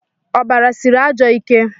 ọbara siri ajọ ike